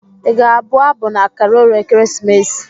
Ị ga-abụ abụ na Karol ekeresimesi?